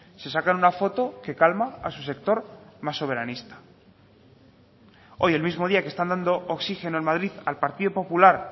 se sacan una foto que calma a su sector más soberanista hoy el mismo día que están dando oxígeno en madrid al partido popular